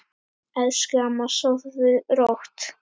Elsku amma, sofðu rótt.